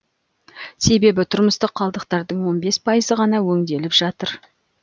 себебі тұрмыстық қалдықтардың он бес пайызы ғана өңделіп жатыр